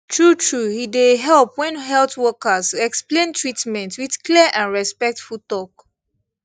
truetrue e dey help when health workers explain treatment with clear and respectful talk